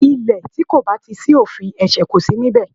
Ilè tí kò bá ti sí òfin, ẹ̀sẹ̀ kò si níbẹ̀